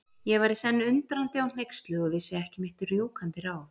Ég var í senn undrandi og hneyksluð og vissi ekki mitt rjúkandi ráð.